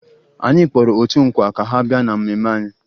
Anyị kpọrọ otu nkwa ka ha bịa na mmemme anyị